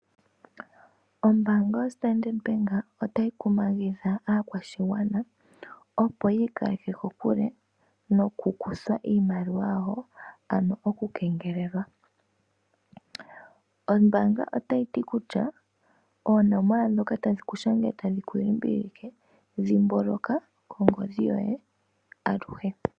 Ombaanga yoStandard Bank otayi kumagidha aakwashigwana opo yiikaleke kokule nokukuthwa iimaliwa yawo, ano okungelelwa. Ombaanga otayi ti kutya, oonomola ndhoka tadhi ku shangele tadhi ku limbililike, dhimbulukwa ongodhi yoye aluhe.